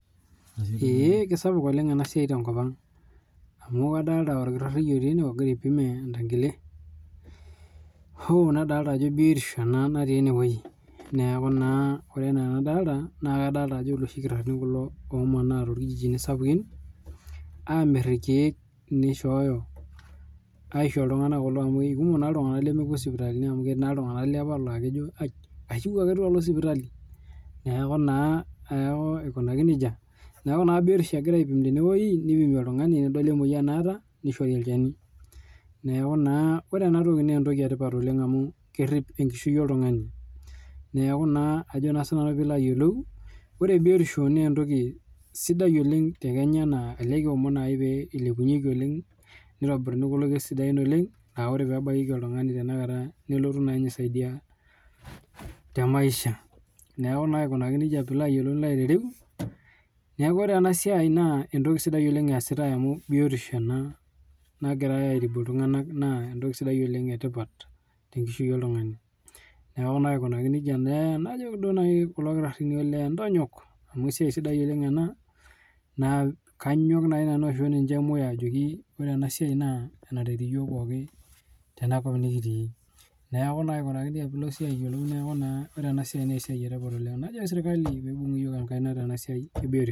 Eeee kesapuk ena siai oleng' tenkopang' amu kadolita olkitari lotii ene ogira aipim entangile, uhu nadolita ajo biotisho ena natii ene woji, neeku naa ore enaa anadolita naa kadolita ajo iloshi kitarrini kulo omaana toolkijiji sapukini aamirr ilkiek nishooyo, aisho iltung'ana kulo amuu kumok iltung'ana lemepuo sipitalini amuu ketii naa iltung'ana laakejo aij mayeu ake duo nalo sipitali, neeku naa aikunaki nejia. Neeku naa biotisho egirai aipim tene weji nipimi oltung'ani nedoli emoyan naata nishori olchani, neeku naa ore ene toki naa entoki etipat oleng' amuu kerrip enkishui oltung'ani, neeku naa ajo naa sinanu pee ilo ayolou, ore biotisho naa entoki sidai oleng' te Kenya naa elee kiomon ake pee ilepunyieki oleng' nitibiruni kulo kiek sidain oleng' laa ore peebakieki oltung'ani nelotu aisaidia temaisha, neeku naa aikunaki nejia pee ilo ayoulou nilo aitereu, neeku ore ena sia naa entoki sidai eesitai amuu biotisho ena, nagirai aitibu iltung'ana naa entoki sidai etipat tenkishui oltung'ani, neeku naa aikunaki nejia, najiki duo nai kulo kitarrini elee entonyok, amuu esiai sidai ena, naa kanyok duo nanu aisho moyo ajoki ore ena siai naa enaret iyook pooki tena kop nikitii, neeku naa aikunaki nejia pee ilo siye ayolou neeku naa najoki sirkali piibung' iyyok enkaina tenasiai ebiotisho.